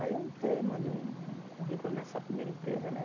Aí eu entrei, mandei um currículo nessa primeira empresa, né?